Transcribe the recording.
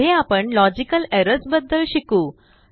पुढे आपणlogical errorsबद्दल शिकू